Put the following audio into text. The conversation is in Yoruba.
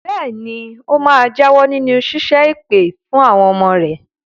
Bẹ́ẹ̀ ni, ó máa jáwọ́ nínú ṣíṣẹ́ èpè fún àwọn ọmọ rẹ̀.